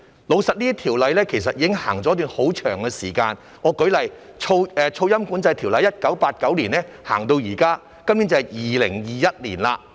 老實說，這些條例其實已實行一段很長時間，我舉例，《噪音管制條例》由1989年實行至今，今年已是2021年。